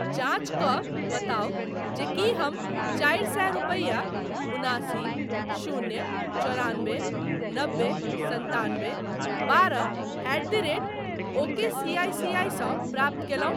जाँच कऽ बताउ जे की हमचारि सए रुपया उनासी शून्य चौरानबे नबे सन्तानबे बारह एट द रेट ओकेसीआईसीआई सँ प्राप्त कयलहुँ ?